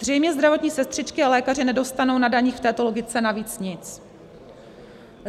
Zřejmě zdravotní sestřičky a lékaři nedostanou na daních v této logice navíc nic.